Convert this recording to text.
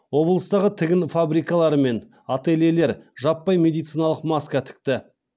облыстағы тігін фабрикалары мен ательелер жаппай медициналық маска тікті